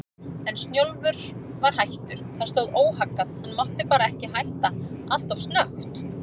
En Snjólfur var hættur, það stóð óhaggað, hann mátti bara ekki hætta alltof snöggt.